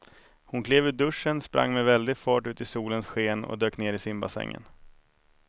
Hon klev ur duschen, sprang med väldig fart ut i solens sken och dök ner i simbassängen.